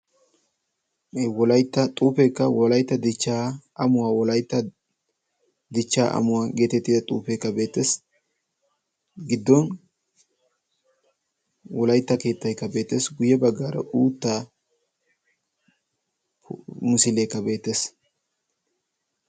E wolaitta xuufeekka wolaitta dichchaa amuwaa wolaitta dichchaa amuwaa geetettida xuufeekka beetees giddon wolaitta keettaikka beetees. guyye baggaara uutta musiileekka beetees.